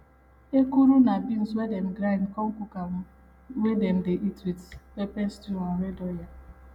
ekuru na beans wey dem grind con cook am wey dem dey eat with pepper stew and red oil